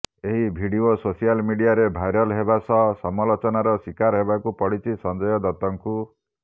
ଏହି video social ମିଡିଆରେ viral ହେବା ସହ ସମାଲୋଚନାର ଶିକାର ହେବାକୁ ପଡିଛି ସଞ୍ଜୟ ଦତଙ୍କୁ